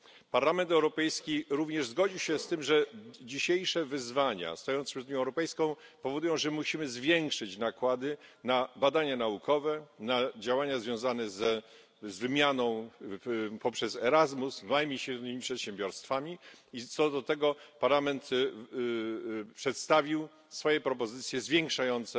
Parlament Europejski również zgodził się z tym, że dzisiejsze wyzwania stojące przed Unią Europejską powodują, że musimy zwiększyć nakłady na badania naukowe, na działania związane z wymianą poprzez Erasmus, małymi i średnimi przedsiębiorstwami, i co do tego Parlament przedstawił swoje propozycje zwiększające